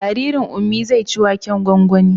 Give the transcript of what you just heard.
Jaririn Ummi zai ci waken gwangwanin